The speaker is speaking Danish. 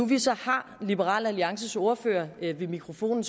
vi så har liberal alliances ordfører ved mikrofonen